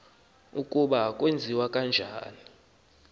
ukuba kwenziwa njani